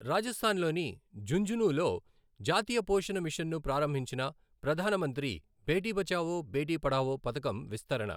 రాజస్థాన్ లోని ఝుంఝునూ లో జాతీయ పోషణ మిషన్ ను ప్రారంభించిన ప్రధాన మంత్రి బేటీ బచావో బేటీ పఢావో పథకం విస్తరణ